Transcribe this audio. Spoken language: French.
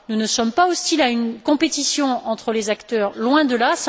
Nous ne sommes pas hostiles à une compétition entre les acteurs, loin de là.